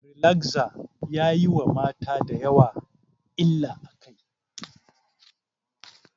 Rilagza yayi wa mata dayawa illa a kai